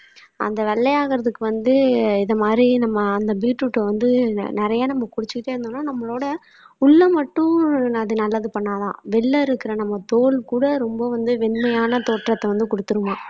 அந்த வெள்ளையாகுறதுக்கு வந்து இது மாதிரி நம்ம அந்த பீட்ரூட்டை வந்து நிறைய நம்ம குடிச்சிட்டே இருந்தோம்னா நம்மளோட உள்ள மட்டும் அது நல்லது பண்ணாதாம் வெளியில இருக்கிற நம்ம தோல் கூட ரொம்ப வந்து வெண்மையான தோற்றத்தை வந்து கொடுத்துருமாம்.